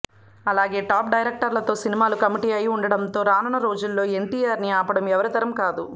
అలాగే టాప్ డైరెక్టర్లతో సినిమాలు కమిట్ అయివుండడంతో రానున్న రోజుల్లో ఎన్టీఆర్ని ఆపడం ఎవరి తరం కాదు